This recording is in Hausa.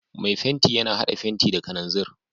Mai fenti yana hada fenti da kananzir.